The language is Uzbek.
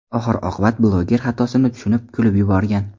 Oxir-oqibat bloger xatosini tushunib, kulib yuborgan.